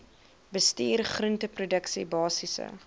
bestuur groenteproduksie basiese